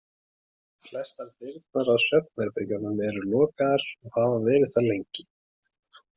Flestar dyrnar að svefnherbergjunum eru lokaðar og hafa verið það lengi.